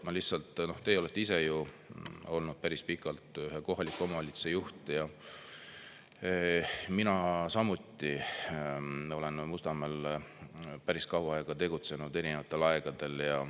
Ma lihtsalt, teie olete ise ju olnud päris pikalt ühe kohaliku omavalitsuse juht ja mina samuti, olen Mustamäel päris kaua aega tegutsenud erinevatel aegadel.